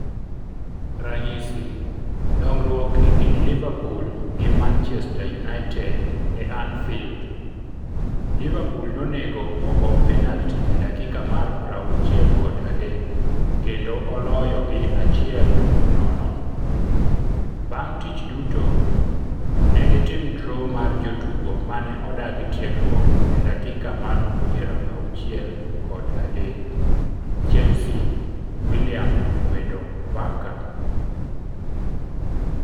Ranyisi: Duong'ruok e kind Liverpool gi Manchester United e Anfield, Liverpool nonego ogol penalti e dakika mar 63 kendo oloyo gi 1-0 Bang' tich duto, negitim draw mar jotugo mane odagi tiegruok e dakika mar 63. Chelsea, Willian okwedo Barca?